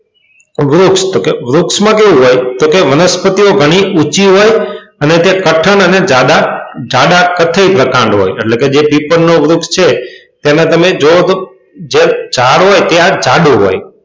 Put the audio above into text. વૃક્ષ તો કે વૃક્ષમાં કેવું હોય તો કહે વનસ્પતિઓ ઘણી ઊંચી હોય અને તે કઠણ અને જાડા કઠણ પ્રકાંડ હોય અને જે પીપળનું વૃક્ષ છે તેમાં તમે જુઓ તો જે ઝાડ હોય તે જાડો હોય.